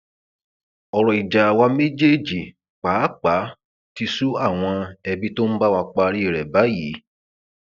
ọrọ ìjà àwa méjèèjì pàápàá ti sú àwọn ẹbí tó ń bá wa parí rẹ báyìí